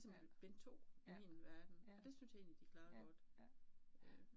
Ja, ja, ja, ja ja, ja